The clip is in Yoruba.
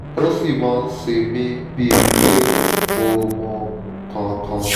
ó ṣì máa ń ṣe mí bíi pé mi ò mọ nǹkan kan